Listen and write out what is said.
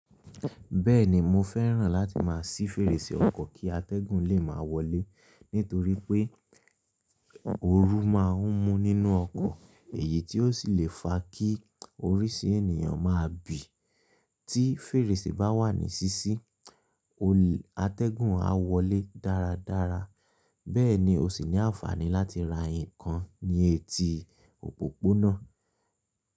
Bẹ́ẹ̀ni, mo fẹ́ràn láti máa ṣí fèrèsé ọkọ̀ kí atẹ́gùn lè máa wọlé, nítorí pé ooru máa ń mú nínú ọkọ̀ èyí tí ó ṣì lè fa kí oríṣi ènìyàn máa bì. Tí fèrèsé bá wà ní ṣíṣí, atẹ́gùn a wọlé dáradára. Bẹ́ẹ̀ ni, o ṣì ní àǹfààní láti ra nǹkan ní etí òpópónà.